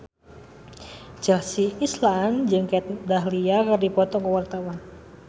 Chelsea Islan jeung Kat Dahlia keur dipoto ku wartawan